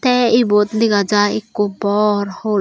te ebot dega jai ekko bor hol.